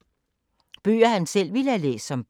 Bøger han selv ville have læst som barn